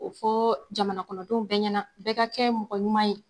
O fɔɔ jamanakɔnɔdenw bɛɛ ɲɛna, bɛɛ ka kɛ mɔgɔ ɲuman ye